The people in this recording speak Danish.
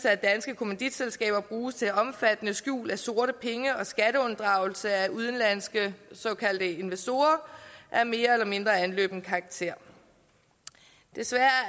at danske kommanditselskaber bruges til omfattende skjul af sorte penge og skatteunddragelse af udenlandske såkaldte investorer af mere eller mindre anløbende karakter desværre